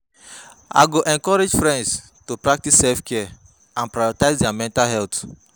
I go encourage friends to practice self-care and prioritize their mental health.